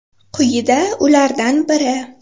Quyida ulardan biri .